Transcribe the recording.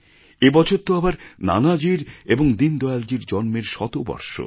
এবছর তো আবার নানাজীর এবং দীনদয়ালজীর জন্মের শতবর্ষ